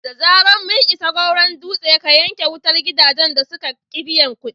Da zarar mun isa Goron Dutse, ka yanke wutar gidajen da suka ƙi biyan kuɗi!"